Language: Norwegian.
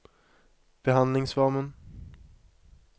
behandlingsformen